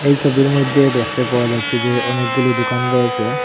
এ ছবির মইধ্যে দেখতে পাওয়া যাচ্ছে যে অনেকগুলো দুকান রয়েসে।